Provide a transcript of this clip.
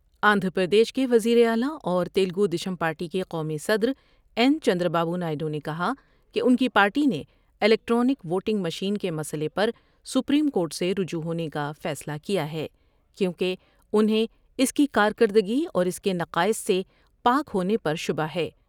آندھرا پردیش کے وزیراعلی اور تیلگودیشم پارٹی کے قومی صدراین چند را بابونائیڈو نے کہا کہ ان کی پارٹی نے الیکٹرانک ووٹنگ مشین کے مسئلے پر سپریم کورٹ سے رجوع ہونے کا فیصلہ کیا ہے کیوں کہ انہیں اس کی کارکردگی اور اس کے نقائص سے پاک ہونے پر شبہ ہے ۔